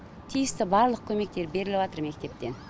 тиісті барлық көмектер беріліватыр мектептен